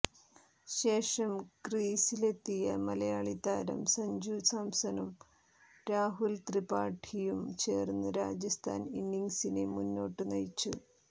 ശേഷം ക്രീസിലെത്തിയ മലയാളി താരം സഞ്ജു സാംസണും രാഹുൽ ത്രിപാഠിയും ചേർന്ന് രാജസ്ഥാൻ ഇന്നിംഗ്സിനെ മുന്നോട്ടു നയിച്ചു